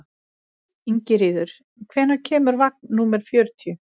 Ingiríður, hvenær kemur vagn númer fjörutíu?